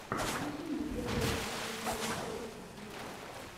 включи мне первый выпуск диджея шейка виво